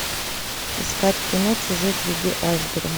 искать кино чужой среди айсбергов